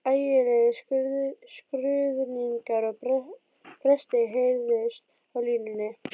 Ægilegir skruðningar og brestir heyrðust á línunni.